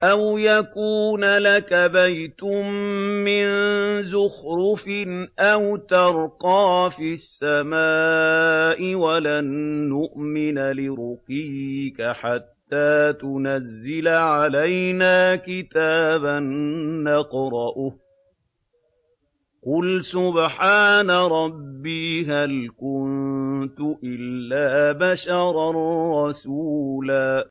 أَوْ يَكُونَ لَكَ بَيْتٌ مِّن زُخْرُفٍ أَوْ تَرْقَىٰ فِي السَّمَاءِ وَلَن نُّؤْمِنَ لِرُقِيِّكَ حَتَّىٰ تُنَزِّلَ عَلَيْنَا كِتَابًا نَّقْرَؤُهُ ۗ قُلْ سُبْحَانَ رَبِّي هَلْ كُنتُ إِلَّا بَشَرًا رَّسُولًا